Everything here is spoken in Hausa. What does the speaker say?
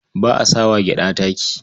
Ba a sa wa gyaɗa taki.